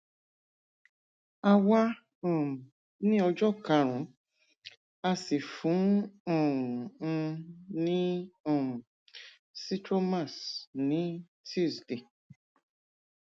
a wà um ní ọjọ karùnún a sì fún um un ní um zithromax ní tuesday